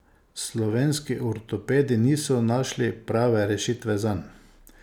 Slovenski ortopedi niso našli prave rešitve zanj.